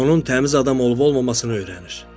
Onun təmiz adam olub-olmamasını öyrənir.